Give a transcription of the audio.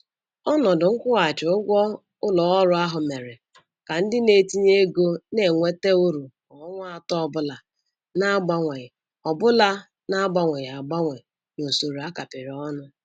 Ọnọdụ nkwụghachi ụgwọ ụlọ ọrụ ahụ mere ka ndị na-etinye ego na-enweta uru kwa ọnwa atọ ọbụla na-agbanweghi ọbụla na-agbanweghi agbanwe n'usoro a kapịrị ọnụ.